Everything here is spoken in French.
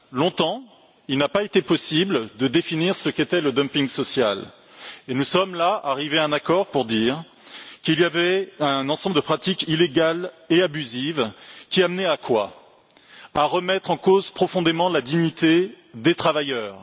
Longtemps, il n'a pas été possible de définir ce qu'était le dumping social et nous sommes maintenant arrivés à un accord pour dire qu'il y avait un ensemble de pratiques illégales et abusives qui a mené à remettre en cause profondément la dignité des travailleurs.